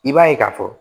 I b'a ye ka fɔ